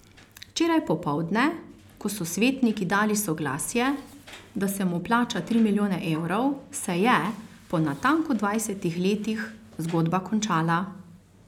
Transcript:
Včeraj popoldne, ko so svetniki dali soglasje, da se mu plača tri milijone evrov, se je, po natanko dvajsetih letih, zgodba končala.